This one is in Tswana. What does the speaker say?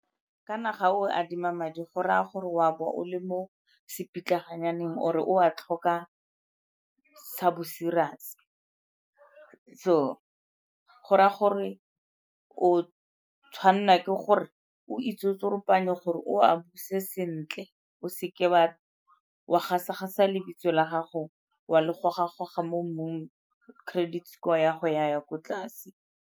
Kana ga o adima madi go raya gore o a bo o le mo se pitlaganyaneng or-e o a tlhoka sa bo-serious-e. So go raya gore o tshwanela ke gore o itsotsoropanye gore o a buse sentle o seke wa gasa-gasa lebitso la gago wa le goga-goga mo mmung credit score ya go ya ko tlase.